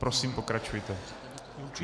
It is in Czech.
Prosím, pokračujte.